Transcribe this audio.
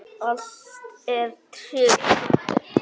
Allt er tryggt.